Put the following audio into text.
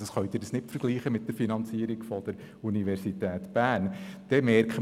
Man kann diese nicht mit der Finanzierung der Universität Bern vergleichen.